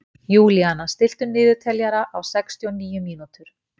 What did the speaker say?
Júlíana, stilltu niðurteljara á sextíu og níu mínútur.